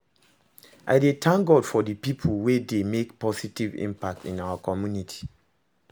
I dey thank God for dey people wey dey make positive impact in our community.